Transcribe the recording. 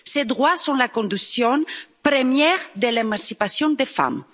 Ces droits sont la condition première de l'émancipation des femmes.